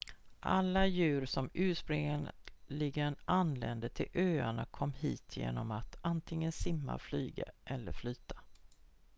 alla djur som ursprungligen anlände till öarna kom hit genom att antingen simma flyga eller flyta